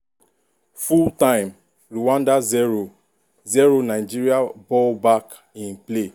full-time rwanda 0-0 nigeria ball back in play.